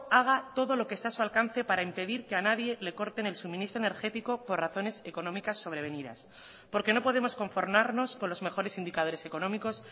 haga todo lo que está a su alcance para impedir que a nadie le corten el suministro energético por razones económicas sobrevenidas porque no podemos conformarnos con los mejores indicadores económicos